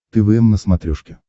твм на смотрешке